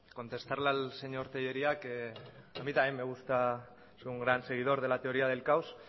contestarle al señor telleria que a mí también me gusta soy un gran seguidor de la teoría del caos